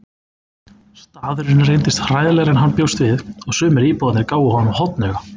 Staðurinn reyndist hræðilegri en hann bjóst við og sumir íbúarnir gáfu honum hornauga.